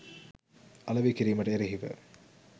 අලෙවි කිරීමට එරෙහිව